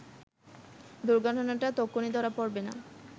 দুর্ঘটনাটা তক্ষুনি ধরা পড়বে না